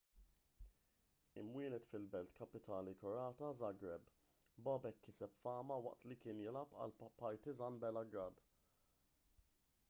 imwieled fil-belt kapitali kroata żagreb bobek kiseb fama waqt li kien jilgħab għal partizan belgrade